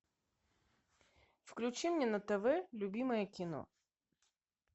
включи мне на тв любимое кино